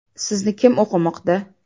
Sizni kim o‘qimoqda?